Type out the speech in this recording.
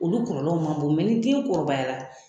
Olu kɔɔlɔw ma bon niden kɔrɔbayara